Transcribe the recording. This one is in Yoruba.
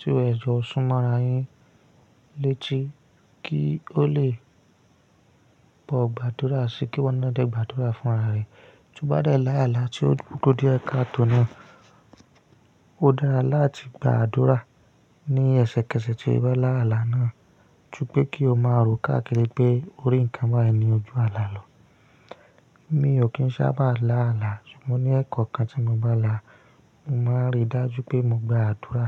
tí ó e jọ́ sún mọ́ra yẹn létí kí ó lè bọ̀ gba àdúrà síi kí iwọ́ náà dè gba àdúrà fúnra rẹ̀. Tí ó bá dẹ̀ lá àlá tí ó ku dié káatò na, ó dára láti gba àdúrà ní ẹsẹkẹsẹ tí ó bá lá àlá náà, ju pe kí ó má rò káàkiri pé orí ǹkan báyìí ni ojú àlá lọ̀. Mi ò kí ń sábà lá àlá, ṣùgbọ́n ní ẹ̀ekọ̀okan tí mo bá là á, mo máa rí dájú pé mo gba àdúrà.